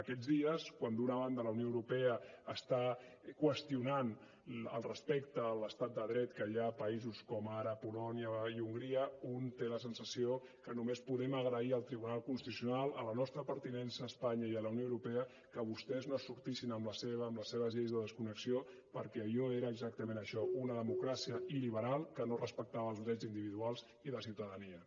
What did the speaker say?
aquests dies quan d’una banda la unió europa està qüestionant el respecte a l’estat de dret que hi ha a països com ara polònia i hongria un té la sensació que només podem agrair al tribunal constitucional a la nostra pertinença a espanya i a la unió europea que vostès no es sortissin amb la seva amb les seves lleis de desconnexió perquè allò era exactament això una democràcia il·liberal que no respectava els drets individuals i la ciutadania